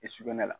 I sugunɛ la